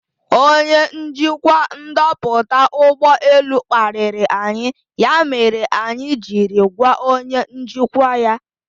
Ọnye njikwa ndoputa ụgbọ elu kpariri anyi ya mere anyị jiri gwa onye njikwa ya.